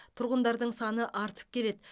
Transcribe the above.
тұрғындардың саны артып келеді